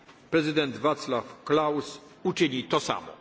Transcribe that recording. wątpliwości, Prezydent Vaclav Klaus uczyni